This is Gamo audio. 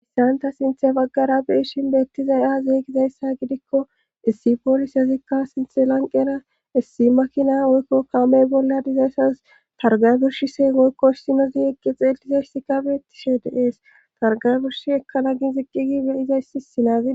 issanta sinthe baggara beishin beettizay ahzeeygizayssa gidikko issi poolis yazikka sinthe lanqena issi makina oykko kaamey bolla dizayssas targay burshi seengoykko issinozi eqqi xeelizayssika beettishe deees targay burshi ekkana gi ziqqigi beyizayssi sinaazi